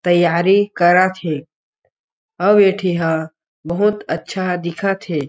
तैयारी करत हे अउ एठीह बहुत अच्छा दिखत हे।